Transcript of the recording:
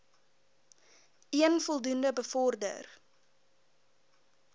een voldoende bevorder